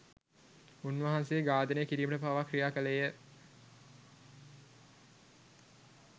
උන්වහන්සේ ඝාතනය කිරීමට පවා ක්‍රියා කළේ ය.